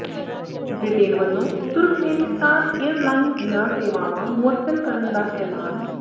Britain ਵੱਲੋਂ Turkmenistan airlines ਦੀਆਂ ਸੇਵਾਵਾਂ ਮੁਅੱਤਲ ਕਰਨ ਦਾ ਐਲਾਨ